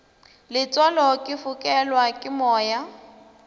letswalo ke fokelwa ke moya